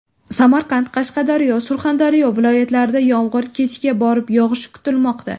Samarqand, Qashqadaryo, Surxondaryo viloyatlarida yomg‘ir kechga borib yog‘ishi kutilmoqda.